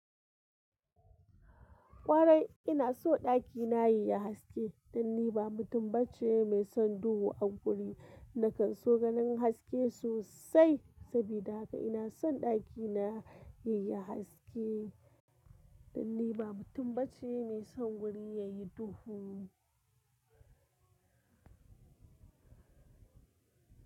Ƙwarai ina so ɗakina yayi haske dan ni ba mutum bace mai son duhu a guri, nakan so ganin haske sosai sabida haka ina son ɗakina yayi haske dan ni ba mutum bace mai son guri yayi duhu.